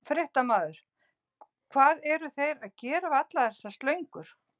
Fréttamaður: Hvað eru þeir að gera við allar þessar slöngur?